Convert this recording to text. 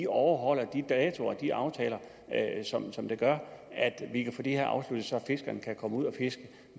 overholder de datoer og de aftaler som gør at vi kan få det her afsluttet så fiskerne kan komme ud og fiske